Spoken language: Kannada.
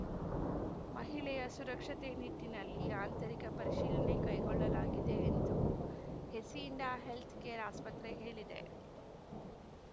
ಮಹಿಳೆಯ ಸುರಕ್ಷತೆ ನಿಟ್ಟಿನಲ್ಲಿ ಆಂತರಿಕ ಪರಿಶೀಲನೆ ಕೈಗೊಳ್ಳಲಾಗಿದೆ ಎಂದು ಹೇಸಿಂಡಾ ಹೆಲ್ತ್‌ಕೇರ್‌ ಆಸ್ಪತ್ರೆ ಹೇಳಿದೆ